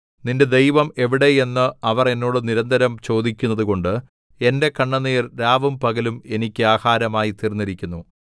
നിന്റെ ദൈവം എവിടെ എന്ന് അവർ എന്നോട് നിരന്തരം ചോദിക്കുന്നതുകൊണ്ട് എന്റെ കണ്ണുനീർ രാവും പകലും എനിക്ക് ആഹാരമായി തീർന്നിരിക്കുന്നു